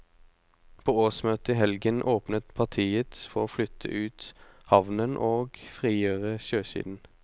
På årsmøtet i helgen åpnet partiet for å flytte ut havnen og frigjøre sjøsiden.